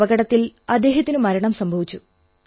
അപകടത്തിൽ അദ്ദേഹത്തിനു മരണം സംഭവിച്ചു